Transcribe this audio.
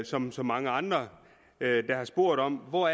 som så mange andre der har spurgt om hvor